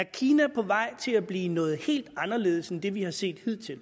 kina på vej til at blive noget helt anderledes end det vi har set hidtil